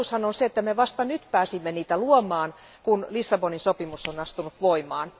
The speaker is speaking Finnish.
Totuushan on se, että me vasta nyt pääsimme niitä luomaan, kun Lissabonin sopimus on astunut voimaan.